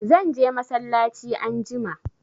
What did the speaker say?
Zan je masallaci anjima